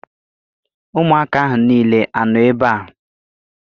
Ụmụaka ahụ niile anọ ebe a?